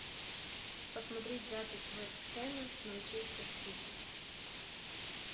посмотреть запись вест хэма с манчестер сити